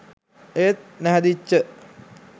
ඒත් නැහැදිච්ච